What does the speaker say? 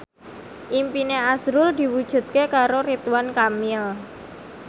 impine azrul diwujudke karo Ridwan Kamil